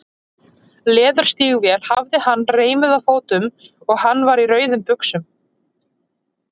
Leðurstígvél hafði hann reimuð á fótum og hann var í rauðum buxum.